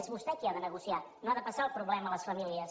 és vostè qui ha de negociar no ha de passar el problema a les famílies